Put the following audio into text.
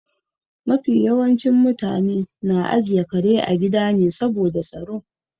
Mafi yawancin mutane na ajiye kare a gida ne saboda tsaro.